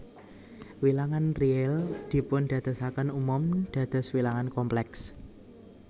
Wilangan réal dipundadosaken umum dados wilangan komplèks